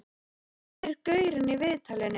Hver er gaurinn í viðtalinu?